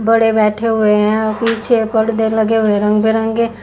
बड़े बैठे हुए हैं और पीछे पर्दे लगे हुए हैं रंग बिरंगे।